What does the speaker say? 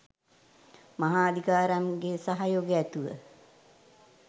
මහා අදිකාරම් ගේ සහයෝගය ඇතිව